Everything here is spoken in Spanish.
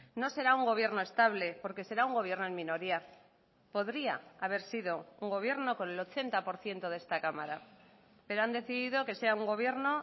no será un gobierno estable porque será un gobierno en minoría podría haber sido un gobierno con el ochenta por ciento de esta cámara pero han decidido que sea un gobierno